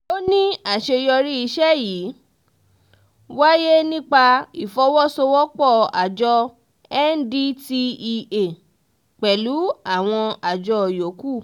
ó ní àṣeyọrí iṣẹ́ yìí wáyé nípa ìfọwọ́-sowọ́-pọ̀ àjọ ndtea pẹ̀lú àwọn àjọ yòókù